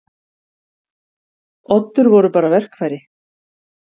Oddur voru bara verkfæri.